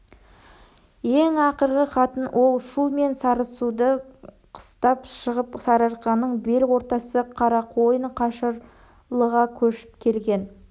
ең ақырғы хатын ол шу мен сарысуды қыстап шығып сарыарқаның бел ортасы қарақойын қашырлыға көшіп келген